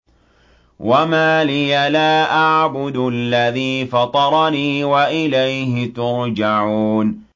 وَمَا لِيَ لَا أَعْبُدُ الَّذِي فَطَرَنِي وَإِلَيْهِ تُرْجَعُونَ